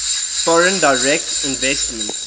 foreign direct investment